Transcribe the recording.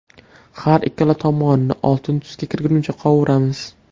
Har ikkala tomonini oltin tusga kirgunicha qovuramiz.